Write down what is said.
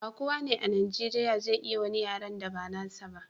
ba kowa a najeriya zai iya wani yaren da ba nasa ba